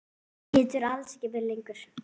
Geturðu alls ekki verið lengur?